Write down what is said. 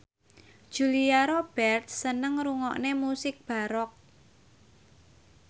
Julia Robert seneng ngrungokne musik baroque